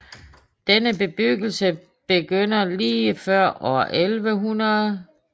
Denne bebyggelse begynder lige før år 1100